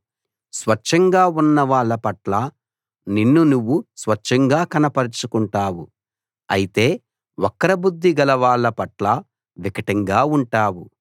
స్వచ్ఛంగా ఉన్నవాళ్ళ పట్ల నిన్ను నువ్వు స్వచ్ఛంగా కనపరచుకుంటావు అయితే వక్రబుద్ధి గలవాళ్ళ పట్ల వికటంగా ఉంటావు